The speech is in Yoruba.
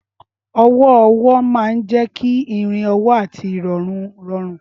Ọwọ́ ọwọ́ máa ń jẹ́ kí ìrìn ọwọ́ àti ìrọ̀rùn rọrùn.